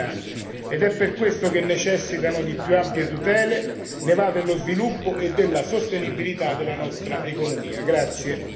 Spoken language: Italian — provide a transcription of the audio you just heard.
I nuovi lavori sono spesso espressione di vocazioni territoriali ed è per questo che necessitano di più ampie tutele, ne va dello sviluppo e della sostenibilità della nostra economia.